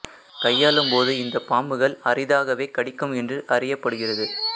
கையாளும் போது இந்த பாம்புகள் அரிதாகவே கடிக்கும் என்று அறியப்படுகிறது